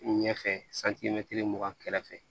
Ɲɛfɛ santimɛtiri mugan kɛrɛfɛ